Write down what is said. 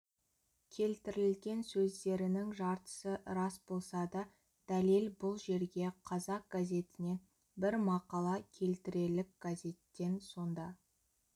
келтірілген сөздерінің жартысы рас болса да дәлел бұл жерге қазақ газетінен бір мақала келтірелік газеттен сонда